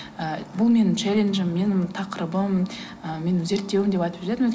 ы бұл менің челенджім менің тақырыбым ы менің зерттеуім деп айтып жүретінмін